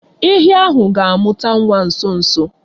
Ehi ahụ ga-amụta nwa nso nso.